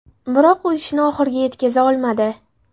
Biroq u ishni oxiriga yetkaza olmadi.